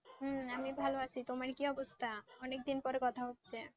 হ্যাঁ আমি ভালো আছি তোমার কি অবস্থা? অনেকদিন পর কথা হচ্ছে,